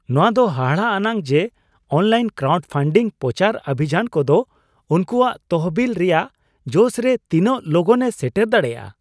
ᱱᱚᱶᱟ ᱫᱚ ᱦᱟᱦᱟᱲᱟᱜᱼᱟᱱᱟᱜ ᱡᱮ ᱚᱱᱞᱟᱭᱤᱱ ᱠᱨᱟᱣᱩᱰ ᱯᱷᱟᱱᱰᱤᱝ ᱯᱚᱪᱟᱨ ᱚᱵᱷᱤᱡᱟᱱ ᱠᱚᱫᱚ ᱩᱱᱠᱚᱣᱟᱜ ᱛᱚᱦᱚᱵᱤᱞ ᱨᱮᱭᱟᱜ ᱡᱚᱥ ᱨᱮ ᱛᱤᱱᱟᱹᱜ ᱞᱚᱜᱚᱱᱮ ᱥᱮᱴᱮᱨ ᱫᱟᱲᱮᱭᱟᱜᱼᱟ ᱾